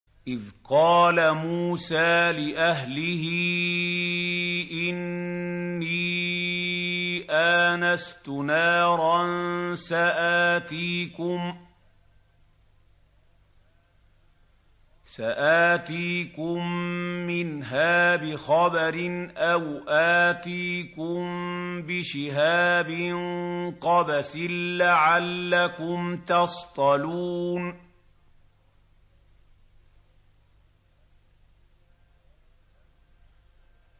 إِذْ قَالَ مُوسَىٰ لِأَهْلِهِ إِنِّي آنَسْتُ نَارًا سَآتِيكُم مِّنْهَا بِخَبَرٍ أَوْ آتِيكُم بِشِهَابٍ قَبَسٍ لَّعَلَّكُمْ تَصْطَلُونَ